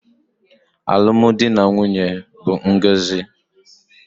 Alụmdi na nwunye bụ ngọzi